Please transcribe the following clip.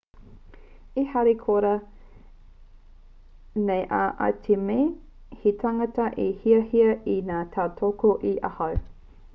e harikoa nei au i te mea he tāngata e hiahia nei te tautoko i ahau